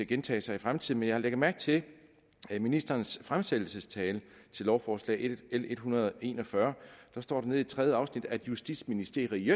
gentage sig i fremtiden jeg har lagt mærke til at der i ministerens fremsættelsestale til lovforslag nummer l en hundrede og en og fyrre står nede i tredje afsnit at justitsministeri